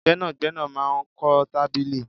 Gbẹ́nàgbẹ́nà máa ń kọ tábìlì